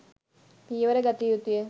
පියවර ගත යුතුය.